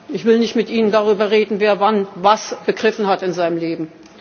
Ich will nicht mit Ihnen darüber reden, wer wann was begriffen hat in seinem Leben.